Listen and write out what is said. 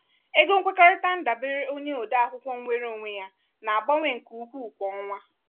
ego nkwekọrịta ndabere onye ode akwụkwọ nweere onwe ya na-agbanwe nke ukwuu kwa ọnwa.